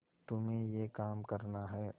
तुम्हें यह काम करना है